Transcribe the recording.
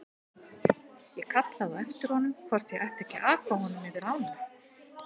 Ég kallaði á eftir honum hvort ég ætti ekki að aka honum yfir ána.